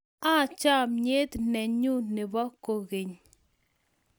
I chamiet ne nyun nebo koingeny